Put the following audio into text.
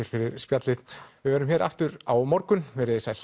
fyrir spjallið við verðum aftur á morgun veriði sæl